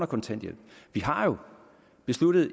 kontanthjælpen vi har jo besluttet